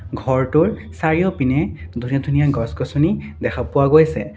ঘৰটোৰ চাৰিওপিনে ধুনীয়া ধুনীয়া গছ গছনি দেখা পোৱা গৈছে।